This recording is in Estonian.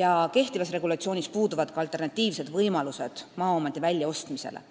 ja kehtivas regulatsioonis puuduvad ka alternatiivsed võimalused maaomandi väljaostmise kõrval.